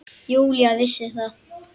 Júlía vissi það.